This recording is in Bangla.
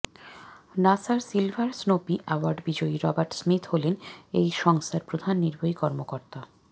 নাসার সিলভার স্নোপি অ্যাওয়ার্ড বিজয়ী রবার্ট স্মিথ হলেন এই সংস্থার প্রধান নির্বাহী কর্মকর্তা